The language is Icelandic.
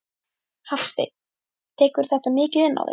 Hafsteinn: Tekurðu þetta mikið inn á þig?